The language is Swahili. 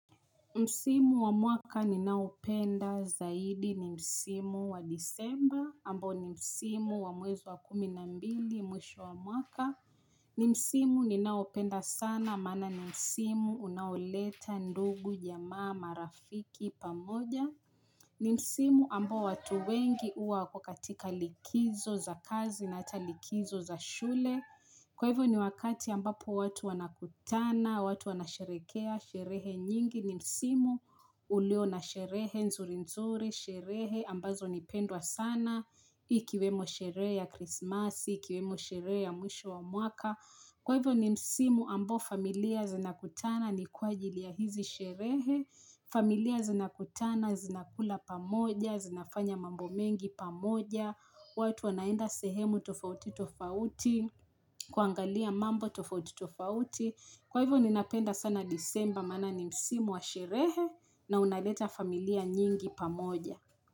Msimu wa mwaka ninaopenda zaidi ni msimu wa disemba, ambao ni msimu wa mwezi wa kumi na mbili mwisho wa mwaka. Ni msimu ninaopenda sana, maana ni msimu unaoleta ndugu, jamaa, marafiki pamoja. Ni msimu ambao watu wengi huwa wako katika likizo za kazi na hata likizo za shule. Kwa hivyo ni wakati ambapo watu wanakutana, watu wanasherehekea, sherehe nyingi ni msimu ulio na sherehe, nzuri nzuri, sherehe ambazo ni pendwa sana, ikiwemo sherehe ya krismasi, ikiwemo sherehe ya mwisho wa mwaka. Kwa hivyo ni msimu ambao familia zinakutana, ni kwa ajili ya hizi sherehe, familia zinakutana, zinakula pamoja, zinafanya mambo mengi pamoja, watu wanaenda sehemu tofauti tofauti, kuangalia mambo tofauti tofauti. Kwa hivyo ninapenda sana disemba maana ni msimu wa sherehe na unaleta familia nyingi pamoja.